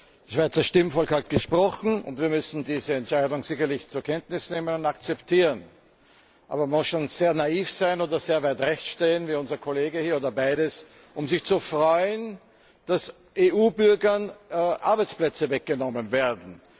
Das Schweizer Stimmvolk hat gesprochen, und wir müssen diese Entscheidung sicherlich zur Kenntnis nehmen und akzeptieren. Aber man muss schon sehr naiv sein oder sehr weit rechts stehen wie unser Kollege hier oder beides, um sich zu freuen, dass EU Bürgern Arbeitsplätze weggenommen werden.